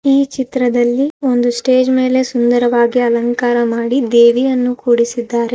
ಈ ಚಿತ್ರದಲ್ಲಿ ಒಂದು ಸ್ಟೇಜ್ ಮೇಲೆ ಸುಂದರವಾಗಿ ಅಲಂಕಾರ ಮಾಡಿ ದೇವಿಯನ್ನು ಕೂಡಿಸಿದ್ದಾರೆ.